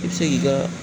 I bɛ se k'i ka